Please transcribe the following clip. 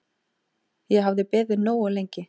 Ég hafði beðið nógu lengi.